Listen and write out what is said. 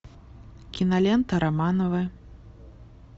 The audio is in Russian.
кинолента романовы